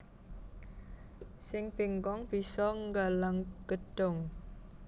Sing bengkong bisa nggalang gedhong